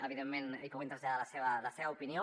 evidentment hi puguin traslladar la seva opinió